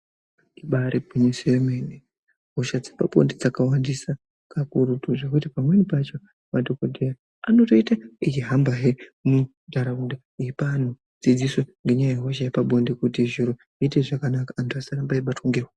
Ibari gwinyiso yemenemene hosha dzepabonde dzakawandisa kakurutu zvekuti pamweni pacho madhongodheya anotoite aihambahe munharaunda aipa anhu dzidziso ngenyaya yehosha yepabonde kuti zviro muite zvakanaka antu asaramba aibatwe ngehosha.